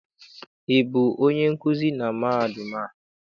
Ị bụ onye nkuzi na mahadum a?